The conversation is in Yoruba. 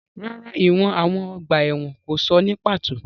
Rárá, ìwọ̀n àwọn ọgbà ẹ̀wọ̀n kò sọ ní pàtó.